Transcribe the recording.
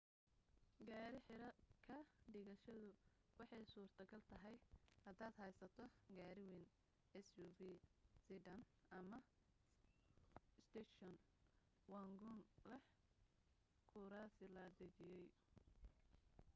gaadhi xero ka dhigashadu waxay suurto gal tahay hadaad haysato gaari wayn suv sedan ama station wagon leh kuraasi la dejiyay